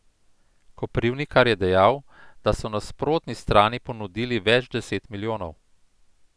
Koprivnikar je dejal, da so nasprotni strani ponudili več deset milijonov.